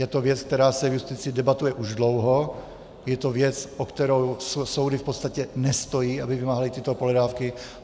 Je to věc, která se v justici debatuje už dlouho, je to věc, o kterou soudy v podstatě nestojí, aby vymáhaly tyto pohledávky.